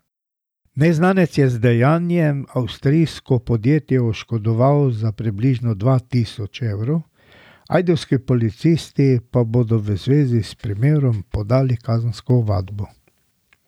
Neznanec je z dejanjem avstrijsko podjetje oškodoval za približno dva tisoč evrov, ajdovski policisti pa bodo v zvezi s primerom podali kazensko ovadbo.